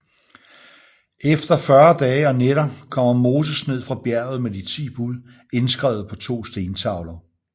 Efter fyrre dage og nætter kommer Moses ned fra bjerget med de ti bud indskrevet på to stentavler